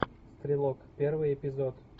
стрелок первый эпизод